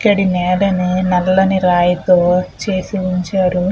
ఇక్కడ నేలని నల్లని రాయితో చేసి ఉంచారు.